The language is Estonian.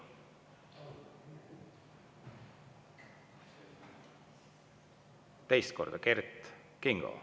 Teist korda: Kert Kingo.